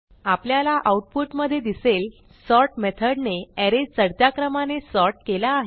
आपल्याला आऊटपुटमधे दिसेल सॉर्ट मेथडने अरे चढत्या क्रमाने सॉर्ट केला आहे